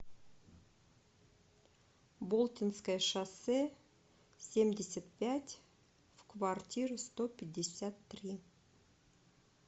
болтинское шоссе семьдесят пять в квартира сто пятьдесят три